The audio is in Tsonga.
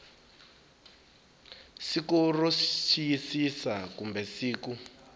siku ro xiyisisa kumbe siku